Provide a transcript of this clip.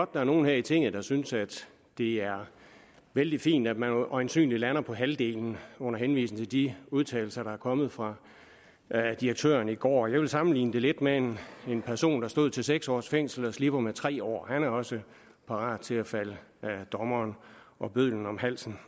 der er nogle her i tinget der synes at det er vældig fint at man øjensynligt lander på halvdelen under henvisning til de udtalelser der er kommet fra direktøren i går jeg vil sammenligne det lidt med en person der stod til seks års fængsel og slipper med tre år han er også parat til at falde dommeren og bødlen om halsen